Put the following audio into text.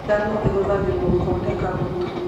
Ngano ĩhũthagĩrwo gũthondeka mũtu.